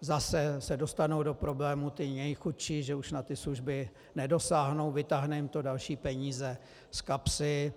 zase se dostanou do problémů ti nejchudší, že už na ty služby nedosáhnou, vytáhne jim to další peníze z kapsy.